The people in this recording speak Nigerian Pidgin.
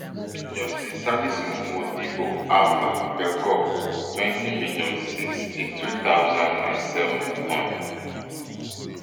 justice salisu modibo alfa belgore twenty million, sixty-two thousand and seven hon